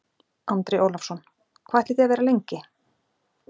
Andri Ólafsson: Hvað ætlið þið að vera lengi?